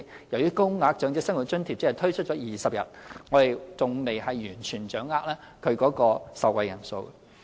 由於高額長者生活津貼只推出了20日，我們還未完全掌握其受惠人數。